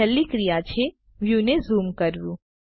છેલ્લી ક્રિયા છે વ્યુને ઝૂમ કરવું